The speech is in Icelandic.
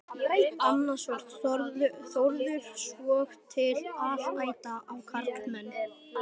Annars var Þórður svotil alæta á karlmenn.